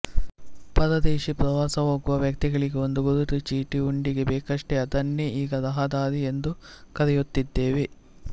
ಪರದೇಶ ಪ್ರವಾಸಹೋಗುವ ವ್ಯಕ್ತಿಗಳಿಗೆ ಒಂದು ಗುರುತು ಚೀಟಿ ಉಂಡಿಗೆ ಬೇಕಷ್ಟೆ ಅದನ್ನೇ ಈಗ ರಹದಾರಿ ಎಂದು ಕರೆಯುತ್ತಿದ್ದೇವೆ